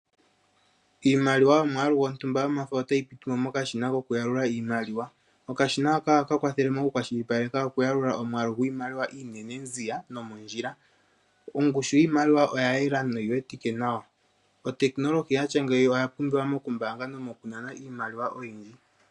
Iimaliwa yomwaalu gwontumba yomafo otayi pitimo mokashina koku yalula iimaliwa, okashina haka ohaka kwathele moku kwashilipaleka oku yalula omwaalu gwiimaliwa iinene nziya nomondjila, ongushu yiimaliwa oya yela noyi wetike nawa, otekinolohi yatya ngeyi oya pumbiwa moku mbaanga nomo ku nana iimaliwa oyindji